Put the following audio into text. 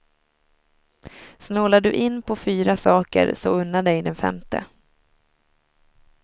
Snålar du in på fyra saker så unna dig den femte.